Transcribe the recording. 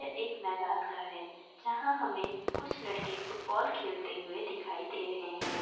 ये एक मैदान का है जहा हमे कुछ लड़के फुटबॉल खेलते हुए दिखाई दे रहे है